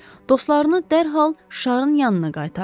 Dostlarını dərhal şarın yanına qaytardı.